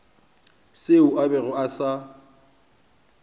seo a bego a sa